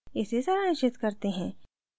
इसे सारांशित करते हैं